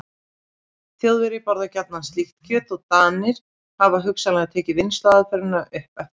Þjóðverjar borða gjarnan slíkt kjöt og Danir hafa hugsanlega tekið vinnsluaðferðina upp eftir þeim.